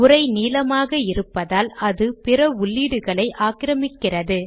உரை நீளமாக இருப்பதால் அது பிற உள்ளீடுகளை ஆக்கிரமிக்கிறது